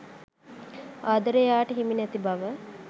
ආදරය එයාට හිමි නැති බව.